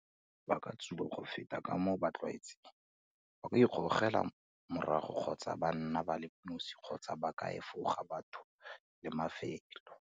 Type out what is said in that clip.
Ba ka tsuba go feta ka moo ba tlwaetseng, ba ka ikgogela morago kgotsa ba nna ba le nosi kgotsa ba ka efoga batho le mafelo.